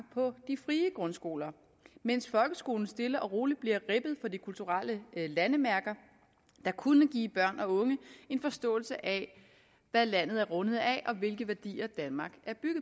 på de frie grundskoler mens folkeskolen stille og roligt bliver ribbet for de kulturelle landemærker der kunne give børn og unge en forståelse af hvad landet er rundet af og hvilke værdier danmark